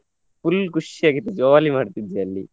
full ಖುಷಿಯಾಗಿದ್ವಿ jolly ಮಾಡ್ತಿದ್ವಿ ಅಲ್ಲಿ.